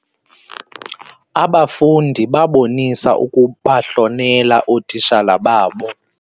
Abafundi babonisa ukubahlonela ootitshala babo.